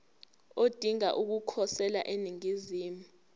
odinga ukukhosela eningizimu